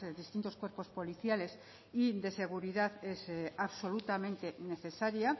distintos cuerpos policiales y de seguridad es absolutamente necesaria